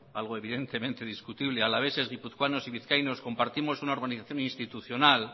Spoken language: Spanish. algo evidentemente discutible alaveses guipuzcoanos y vizcaínos compartimos una organización institucional